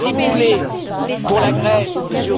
Si vous voulez, pour la Grèce,